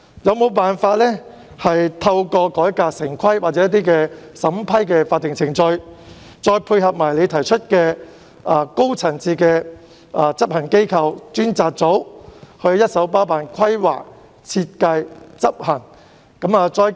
政府能否透過改革城規或某些法定審批程序，再配合特首提出的高層次執行機構、專責組，一手包辦規劃、設計和執行工作？